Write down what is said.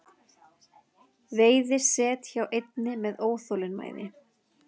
Veiði set hjá einni með óþolinmæði